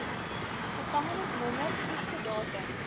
gevangenisnommer vroegste datum